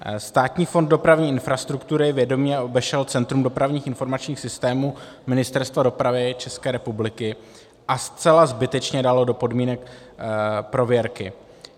Státní fond dopravní infrastruktury vědomě obešel Centrum dopravních informačních systémů Ministerstva dopravy České republiky a zcela zbytečně dalo do podmínek prověrky.